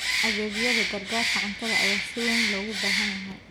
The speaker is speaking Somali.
Adeegyada gargaarka cuntada ayaa si weyn loogu baahan yahay.